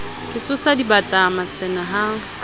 ke tsosa dibata masene ha